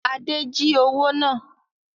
Adé jí owó náà